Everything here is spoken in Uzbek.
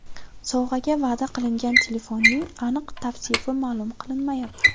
Sovg‘aga va’da qilingan telefonning aniq tavsifi ma’lum qilinmayapti.